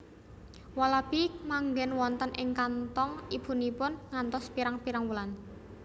Walabi manggen wonten ing kanthong ibunipun ngantos pirang pirang wulan